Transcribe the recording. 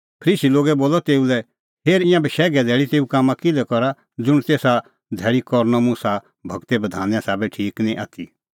फरीसी लोगै बोलअ तेऊ लै हेर ईंयां बशैघे धैल़ी तेऊ कामां किल्है करा ज़ुंण तेसा धैल़ी करनअ मुसा गूरे बधाने साबै ठीक निं आथी